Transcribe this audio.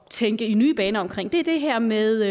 at tænke i nye baner er det her med